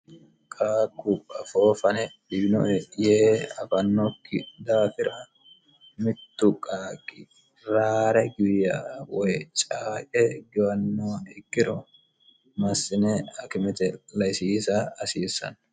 kaakub foofane biino yee afannokki daafira mittu qaaqi raare giirya woy caaqe gowannoo ikkiro massine akimete laisiisa asiissanno